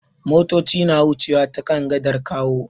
Motoci na wucewa ta kan gadar Kawo.